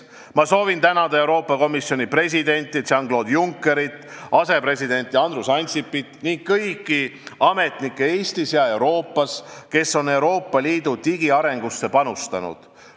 Ma tänan Euroopa Komisjoni presidenti Jean-Claude Junckerit, asepresident Andrus Ansipit ning kõiki ametnikke Eestis ja Euroopas, kes on Euroopa Liidu digiarengusse panustanud.